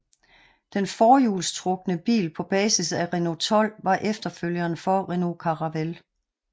Den forhjulstrukne bil på basis af Renault 12 var efterfølgeren for Renault Caravelle